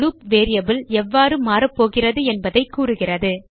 loop variable எவ்வாறு மாறப்போகிறது என்பதைக் கூறுகிறது